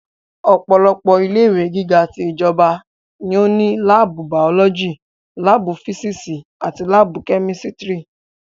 Ọ̀pọ̀lọpọ̀ ilé ìwé gíga ti ìjọba ní ó ní láàbù bàọ́lọ́jì, láàbù físísì àti láàbù kẹ́mísítírì